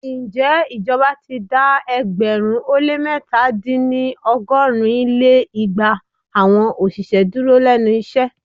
Ǹjẹ́ ìjọba ti dá ẹgbẹ̀rún ó lé mẹ́ta- dín ní ọgọ́rin lé igba awọn òṣìṣẹ́ dúró lénu iṣẹ́?